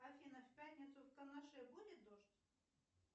афина в пятницу в канаше будет дождь